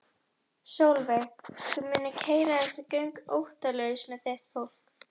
Sólveig: Þú mundir keyra þessi göng óttalaus með þitt fólk?